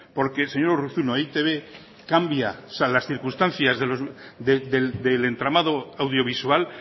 porque señor urruzuno e i te be cambia las circunstancias del entramado audiovisual